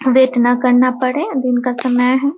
Wait ना करना पड़े अ दिन का समय है।